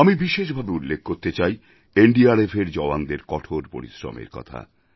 আমি বিশেষভাবে উল্লেখ করতে চাই এনডিআরএফের জওয়ানদের কঠোর পরিশ্রমের কথা